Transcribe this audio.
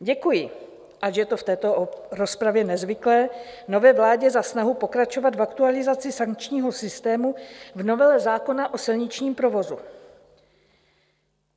Děkuji, ač je to v této rozpravě nezvyklé, nové vládě za snahu pokračovat v aktualizaci sankčního systému v novele zákona o silničním provozu.